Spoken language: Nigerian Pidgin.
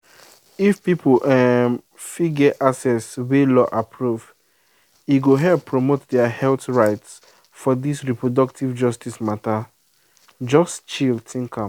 if people um fit get access wey law approve e go help promote their health rights for this reproductive justice matter. just chill think am.